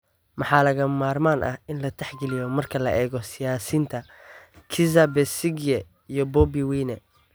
Maxaa lagama maarmaan ah in la tixgeliyo marka la eego siyaasiyiinta Kizza Besigye iyo Bobi Wine?